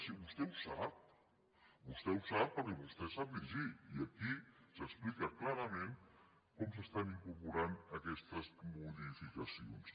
si vostè ho sap vostè ho sap perquè vostè sap llegir i aquí s’explica clarament com s’estan incorporant aquestes modificacions